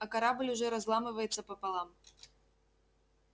а корабль уже разламывается пополам